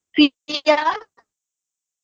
কিতৃজা